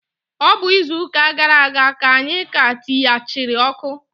Ọ bụ izuụka gara aga ka anyị ka tiyachiri ọkụ.